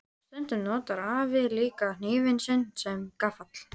Stundum notar afi líka hnífinn sinn sem gaffal.